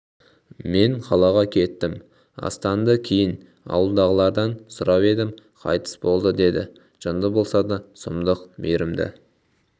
мен қалаға кеттім астанды кейін ауылдағылардан сұрап едім қайтыс болды деді жынды болса да сұмдық мейірімді